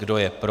Kdo je pro?